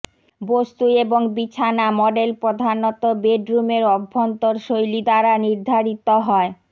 বস্তু এবং বিছানা মডেল প্রধানত বেডরুমের অভ্যন্তর শৈলী দ্বারা নির্ধারিত হয়